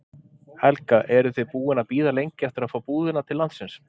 Helga: Eruð þið búin að bíða lengi eftir að fá búðina til landsins?